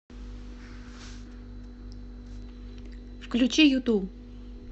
включи юту